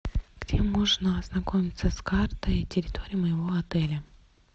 где можно ознакомиться с картой территории моего отеля